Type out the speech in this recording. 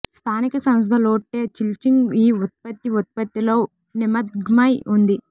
స్థానిక సంస్థ Lotte Chilsung ఈ ఉత్పత్తి ఉత్పత్తిలో నిమగ్నమై ఉంది